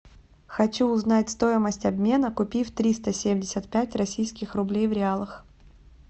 хочу узнать стоимость обмена купив триста семьдесят пять российских рублей в реалах